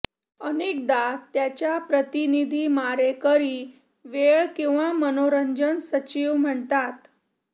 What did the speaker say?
अनेकदा त्याच्या प्रतिनिधी मारेकरी वेळ किंवा मनोरंजन सचिव म्हणतात